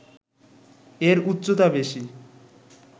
এর উচ্চতা বেশি